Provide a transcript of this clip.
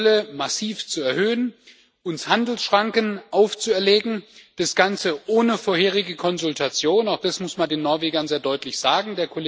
Die Zölle massiv zu erhöhen, uns Handelsschranken aufzuerlegen, das Ganze ohne vorherige Konsultation, auch das muss man den Norwegern sehr deutlich sagen.